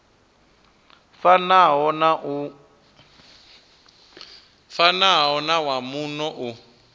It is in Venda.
fanaho na wa muno u